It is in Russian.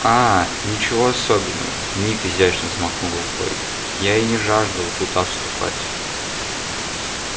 а ничего особенного ник изящно взмахнул рукой я и не жаждал туда вступать